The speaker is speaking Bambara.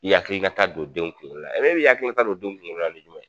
I yakili la ta don denw kungolo la la i b'i yakilila ta don denw kungolo la nin jumɛn